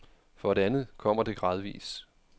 For det andet kommer det gradvis.